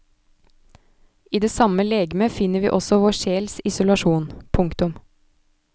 I det samme legeme finner vi også vår sjels isolasjon. punktum